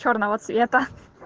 чёрного цвета